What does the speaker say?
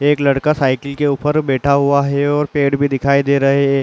एक लड़का साइकिल के ऊपर बैठा हुआ है और पेड़ भी दिखाई दे रहे हे ।